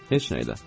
Heç nəylə.